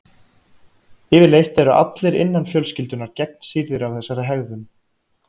Yfirleitt eru allir innan fjölskyldunnar gegnsýrðir af þessari hegðun.